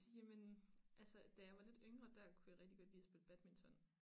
Jamen altså da jeg var lidt yngre der kunne jeg rigtig godt lide at spille badminton